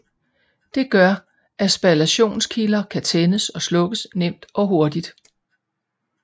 Det gør at spallationskilder kan tændes og slukkes nemt og hurtigt